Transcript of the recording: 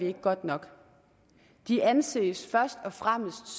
ikke godt nok de anses først og fremmest